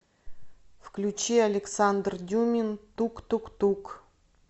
включи александр дюмин тук тук тук